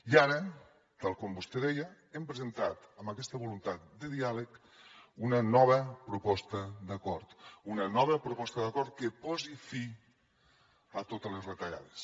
i ara tal com vostè deia hem presentat amb aquesta voluntat de diàleg una nova proposta d’acord una nova proposta d’acord que posi fi a totes les retallades